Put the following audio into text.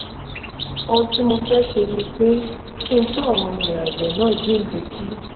ohun tí mo fẹ́ ṣe ni pé kí n tún àwọn ilẹ̀ àgbẹ̀ náà jíǹde kí